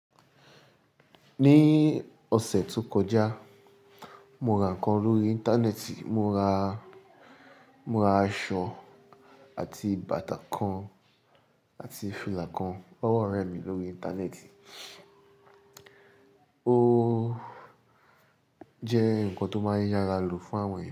Ní ọ̀sẹ̀ tó kọjá, mo ra nǹkan lórí Íńtánẹ́ẹ̀tì, mo ra, mo ra aṣọ àti bàtà kan àti fìlà kan. Ọwọ́ rẹ mì lórí Íńtánẹ́ẹ̀tì. Ó jẹ́ ǹkan tó máa ń yára lò fún àwọn èyan.